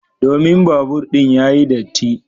Domin babur din yayi datti.